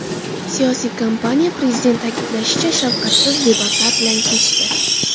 Siyosiy kampaniya, prezident ta’kidlashicha, shafqatsiz debatlar bilan kechdi.